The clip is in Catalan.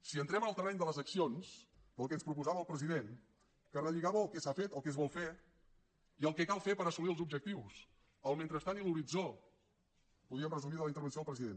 si entrem en el terreny de les accions del que ens proposava el president que relligava el que s’ha fet el que es vol fer i el que cal fer per assolir els objectius el mentrestant i l’horitzó podríem resumir de la intervenció del president